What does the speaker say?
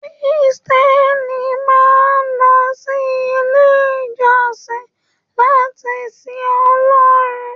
Kírísítẹ́nì máa n lọ sí ilé ìjọsìn láti sìn Ọlọrun.